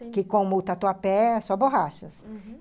Porque como o Tatuapé é só borrachas, uhum.